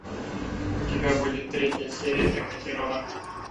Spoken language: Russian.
у тебя будет третья серия эхо террора